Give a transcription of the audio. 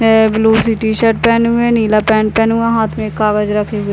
है ब्लू सी टी-शर्ट पहने हुए है नीला पेंट पहना हुआ है हाथ में कागज रखे हुए --